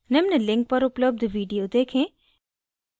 निम्न link पर उपलब्ध video देखें